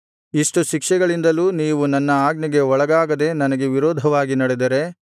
ಇಷ್ಟು ಶಿಕ್ಷೆಗಳಿಂದಲೂ ನೀವು ನನ್ನ ಆಜ್ಞೆಗೆ ಒಳಗಾಗದೆ ನನಗೆ ವಿರೋಧವಾಗಿ ನಡೆದರೆ